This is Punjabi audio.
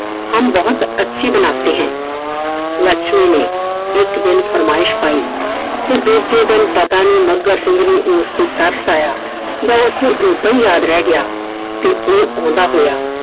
हम बहुत अच्छी बनाते है । ਲੱਛਮੀ ਨੇ ਇੱਕ ਦਿਨ ਫ਼ਰਮਾਇਸ਼ ਪਾਈ। ਤੇ ਦੂਜੇ ਦਿਨ ਪਤਾ ਨਹੀਂ ਮੱਘਰ ਸਿੰਘ ਉਸ ਤੇ ਤਰਸ ਆਇਆ। ਉਸ ਨੂੰ ਓਦਾਂ ਹੀ ਯਾਦ ਰਹਿ ਗਿਆ। ਤੇ ਉਹ ਓਹਦਾ ਹੋਇਆ